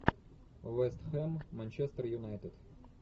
вест хэм манчестер юнайтед